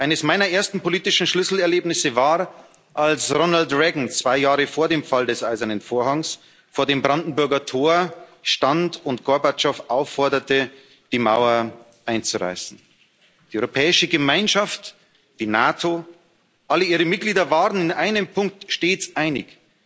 Eines meiner ersten politischen Schlüsselerlebnisse war, als Ronald Reagan zwei Jahre vor dem Fall des Eisernen Vorhangs vor dem Brandenburger Tor stand und Gorbatschow aufforderte, die Mauer einzureißen. Die Europäische Gemeinschaft, die NATO, alle ihre Mitglieder waren in einem Punkt stets einig